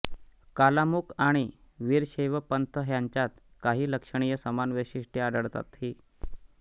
कालामुख आणि वीरशैव पंथ ह्यांच्यांत काही लक्षणीय समान वैशिष्टये आढळतातही